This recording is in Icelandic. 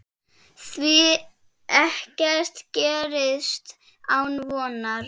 Því ekkert gerist án vonar.